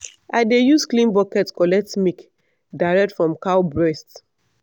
i dey use clean bucket collect milk direct from cow breast.